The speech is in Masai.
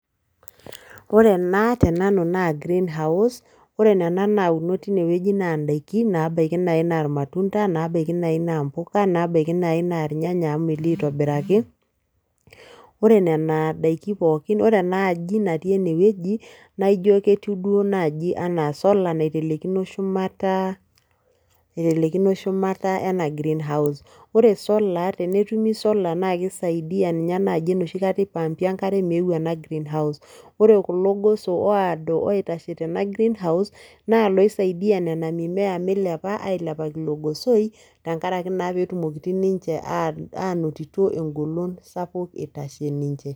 Ore ena tenanu naa greenhouse ore nena naauno tinewueji naa ndaikin naabaiki naai naa irmatunda naabaiki naa impuka nebaiki naa irnyanya amu melio aitobiraki, ore nena daiki pookin ore ena aaji natii ene wueji naa ijio ketiu duo naaji enaa solar naitelekino shumata ena greenhouse ore solar tenetumi solar naa kisaidia ninye naaji enoshikata ipumpi enkare meou ena greenhouse ore kulo goso oodo oitashe tena greenhouse naa iloosaidia nena mimea milepa ailepaki ilo gosoi tenkaraki naa pee etumoki ninche aanotito engolon sapuk itashe ninche.